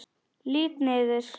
Lít niður.